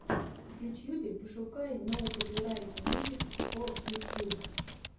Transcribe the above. в ютьюбе пошукай ноу копирайт мьюзик фо ютьюб